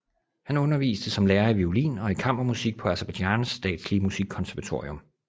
Han underviste som lærer i violin og i kammermusik på Aserbajdsjans Statslige Musikkonservatorium